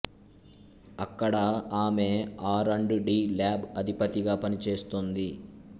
అక్కడ ఆమె R and D lab అధిపతిగా పనిచేస్తోంది